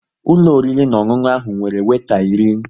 Ụlọ oriri na ọṅụṅụ ahụ nwere weeta iri